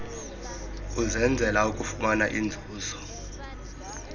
usenzela ukufumana inzuzo